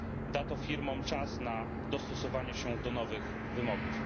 Da to firmom czas na dostosowanie się do nowych wymogów.